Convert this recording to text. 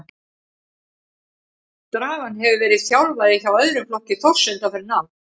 Dragan hefur verið þjálfari hjá öðrum flokki Þórs undanfarin ár.